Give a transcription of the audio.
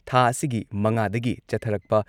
ꯊꯥ ꯑꯁꯤꯒꯤ ꯃꯉꯥꯗꯒꯤ ꯆꯠꯊꯔꯛꯄ